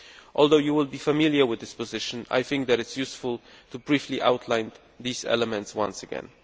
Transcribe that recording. Although you will be familiar with this position, I think that it would be useful to briefly outline these elements once again.